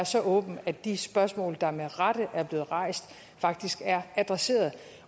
så åben at de spørgsmål der med rette er blevet rejst faktisk er adresseret